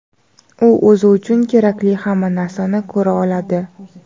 "u o‘zi uchun kerakli hamma narsani ko‘ra oladi".